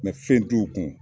fɛn t'u kun